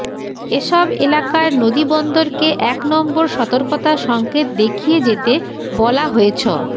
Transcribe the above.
এসব এলাকার নদীবন্দরকে এক নম্বর সতর্কতা সংকেত দেখিয়ে যেতে বলা হয়েছ